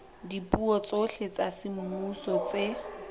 dipuo tsohle tsa semmuso tse